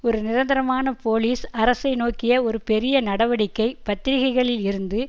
ஒரு நிரந்தரமான போலீஸ் அரசை நோக்கிய ஒரு பெரிய நடவடிக்கை பத்திரிகைகளில் இருந்து